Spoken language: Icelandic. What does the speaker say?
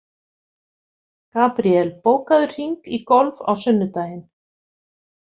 Gabriel, bókaðu hring í golf á sunnudaginn.